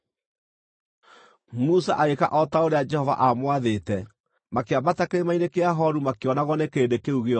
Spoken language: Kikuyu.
Musa agĩĩka o ta ũrĩa Jehova aamwathĩte; makĩambata Kĩrĩma-inĩ kĩa Horu makĩonagwo nĩ kĩrĩndĩ kĩu gĩothe.